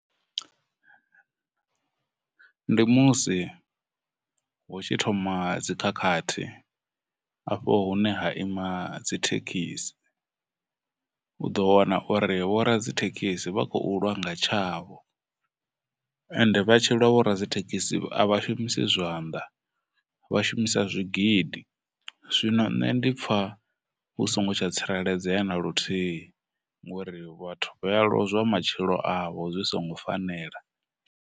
Ndi musi hu tshi thoma dzikhakhathi afho hune ha ima dzithekhisi u ḓo wana uri vho radzithekhisi vha khou lwa nga tshavho, ende vha tshi lwa vhoradzithekhisi a vha shumisi zwanḓa, vha shumisa zwigidi, zwino nṋe ndi pfha vhu songo tsha tsireledzea na luthihi ngori vhathu vha ya lozwa matshilo avho zwi songo fanela.